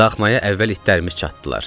Daxmaya əvvəl itlərimiz çatdılar.